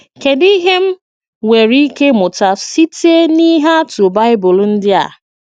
Kédù íhè m nwerè íké ímùtà sîte n'íhè àtụ̀ Baịbụl ndí a?'